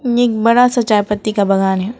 एक बड़ा सा चाय पत्ती का बागान है।